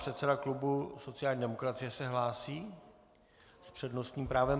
Předseda klubu sociální demokracie se hlásí s přednostním právem.